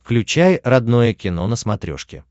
включай родное кино на смотрешке